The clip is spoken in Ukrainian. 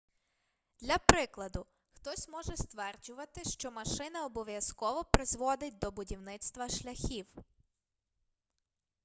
для прикладу хтось може стверджувати що машина обов'язково призводить до будівництва шляхів